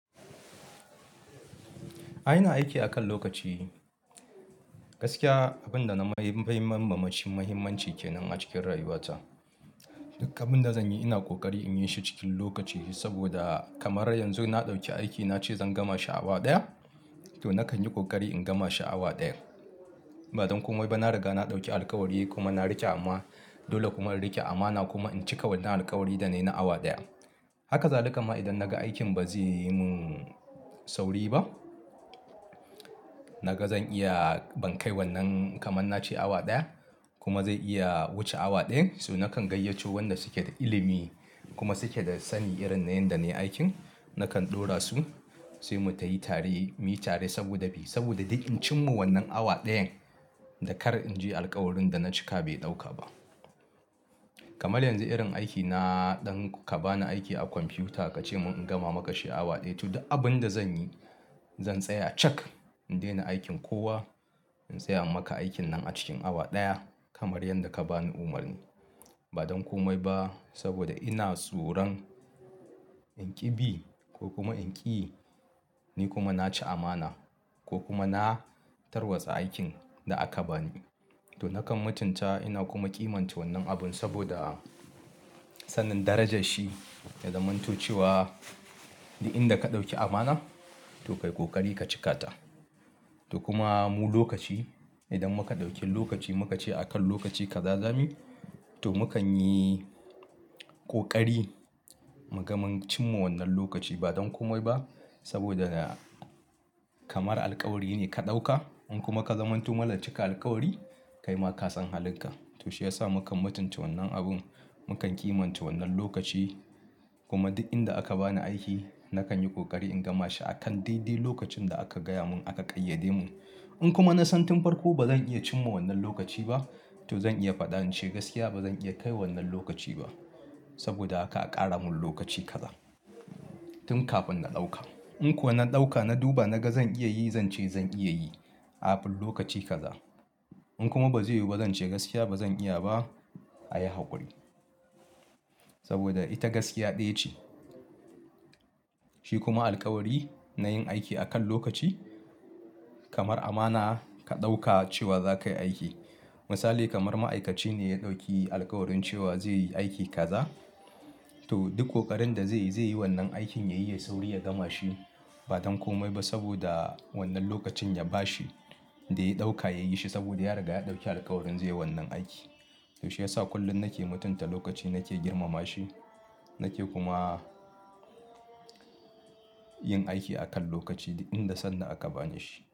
Ai ina aiki akan lokaci gaskiya abin da na mai mahimma mace muhimmanci kenan a cikin rayuwata. Duk abin da zan yi ina kokari in yi shi cikin lokaci ne saboda kamar yanzu na ɗauki aiki na ce zan gama shi awa ɗaya to na kan yi kokari in gama shi awa ɗayan. Ba don komai ba na riga na ɗauki alkawari kuma na rike ama dole kuma in rike amana kuma in cika wannan alkawari da na yi na awa ɗaya. Haka zalika ma idan naga aikin ba zai yi mun sauri ba naga zan iya, ban kai wannan kaman nace awa ɗaya kuma zai iya wuce awa ɗaya so nakan gayyato wanda suke da ilimi kuma suke da sani irin na yanda nai aikin nakan ɗora su sai mu tayi tare, muyi tare saboda bi saboda duk in cin ma wannan awa ɗayan dan kar in je alkawarin da na cika bai ɗauka ba. Kamar yanzu irin aiki na, idan ka bani aiki a kwamfiyuta kace mun in gama maka shi awa ɗaya to abin da zan yi zan tsaya cak in daina aikin kowa in tsaya maka aikin nan a cikin awa ɗaya kamar yadda ka bani umarni. Ba don komai ba saboda ina tsoron in ƙi bi ko kuma in ƙi yi ni kuma naci amana ko kuma na tarwatsa aikin da aka bani to nakan mutunta ina kuma kimanta wannan abun saboda sanin darajar shi ya zamanto cewa duk inda ka ɗauki amana to kai kokari ka cika ta. To kuma mu lokaci idan muka ɗauke lokaci muka ce akan lokaci kaza zami to mukan yi kokari mu ga mun cin ma wannan lokaci ba don komai ba saboda kamar alkawari ne ka ɗauka in kuma ka zamanto mara cika alkawari kai ma ka san halin ka to shi yasa mukan mutunta wannan abun mukan kimanta wannan lokaci kuma duk inda aka bani aiki nakan yi kokari in gama shi akan daidai lokacin da aka gaya mun aka ƙayyade mun. In kuma na san tun farko bazan iya cin ma wannan lokaci ba to zan iya faɗa ince gaskiya bazan iya kai wannan lokaci ba saboda aka ƙara mun lokaci kaza tun kafin na ɗauka. In kuwa na ɗauka na duba naga zan iya yi zan ce zan iya yi kafin lokaci kaza in kuma bazai yiwu ba zan ce gaskiya bazan iya ba a yi haƙuri saboda ita gaskiya ɗaya ce. Shi kuma alkawari na yin aiki akan lokaci kamar amana ka ɗauka cewa za ka yi aiki. Misali kamar ma'aikaci ne ya ɗauki alkawarin cewa zai yi aiki kaza to duk ƙoƙarin da zai yi zai yi wannan aikin yayi yai sauri ya gama shi ba don komai ba saboda wannan lokacin ya bashi da ya ɗauka ya yi shi saboda ya riga ya ɗauki alkawarin zai yi wannan aiki. To shi yasa kullum nake mutunta lokaci nake girmama shi nake kuma yin aiki akan lokaci duk inda sanda aka bani shi.